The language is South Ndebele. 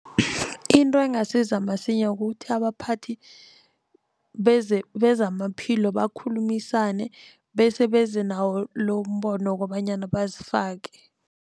Into engasiza msinya kukuthi abaphathi bezamaphilo bakhulumisane bese beze nawo lombono wokobanyana bazifake.